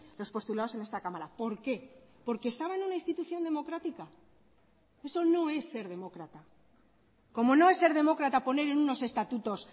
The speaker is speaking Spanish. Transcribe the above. los postulados en esta cámara por qué por que estaba en una institución democrática eso no es ser demócrata como no es ser demócrata poner en unos estatutos